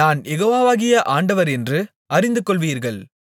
நான் யெகோவாகிய ஆண்டவரென்று அறிந்துகொள்வீர்கள்